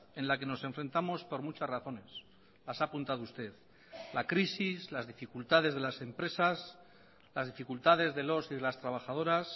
en la que nos enfrentamos por muchas razones las ha apuntado usted la crisis las dificultades de las empresas las dificultades de los y de las trabajadoras